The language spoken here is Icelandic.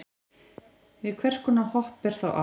við hvers konar hopp er þá átt